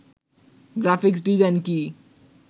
graphics design কি